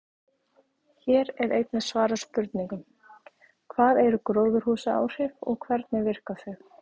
Hér er einnig svarað spurningunum: Hvað eru gróðurhúsaáhrif og hvernig virka þau?